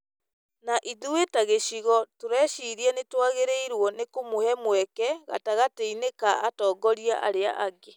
Na ithuĩ ta gĩcigo tũrĩciiria nĩ twagĩrĩirũo nĩ kũmũhe mweke gatagatĩ-inĩ ka atongoria arĩa angĩ.